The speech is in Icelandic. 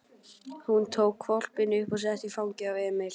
Hún tók hvolpinn upp og setti í fangið á Emil.